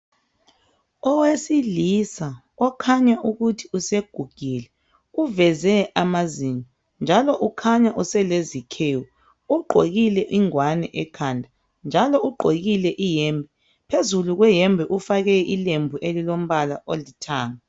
Owesilisa okukhanya ukuthi usegugile uveze amazinyo njalo ukhanya uselezikhewu ugqokile ingwane ekhanda njalo ugqokile iyembe phezulu kweyembe ufake ilembu elilombala olithanga.